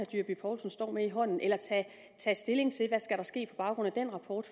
dyrby paulsen står med i hånden eller tage stilling til hvad der skal ske på baggrund af den rapport